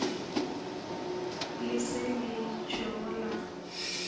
le se le tšhwego la